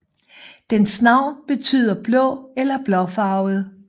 Dens navn betyder blå eller blåfarvet